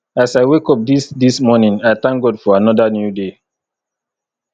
as i wake up this this morning i thank god for another new day